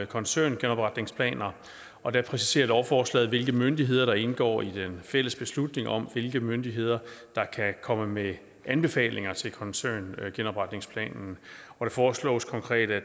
koncerngenopretningsplaner og der præciserer lovforslaget hvilke myndigheder der indgår i den fælles beslutning om hvilke myndigheder der kan komme med anbefalinger til koncerngenopretningsplanen og det foreslås konkret at